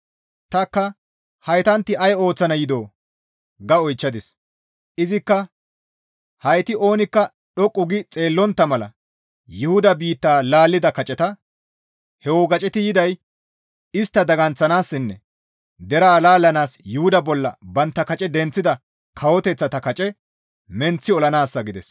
Tanikka, «Haytanti ay ooththana yidoo?» ga oychchadis. Izikka, «Hayti oonikka dhoqqu gi xeellontta mala Yuhuda biitta laallida kaceta; ha wogaceti yiday istta daganththanaassinne deraa laallanaas Yuhuda bolla bantta kace denththida kawoteththata kace menththi olanaassa» gides.